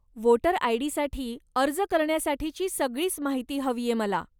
Voter आय.डी.साठी अर्ज करण्यासाठीची सगळीच माहिती हवीये मला.